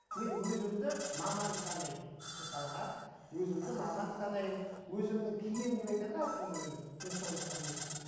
мен өзімді маман санаймын мысалға өзімді маман санаймын өзімнің киім деп айтады ғой әркім өзінің мен соны құрметтеймін